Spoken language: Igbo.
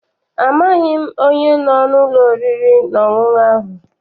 Amaghị m onye no n'ụlọ oriri na ọṅụṅụ ahụ.